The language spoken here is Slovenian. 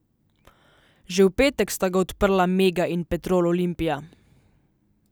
Že v petek sta ga odprla Mega in Petrol Olimpija.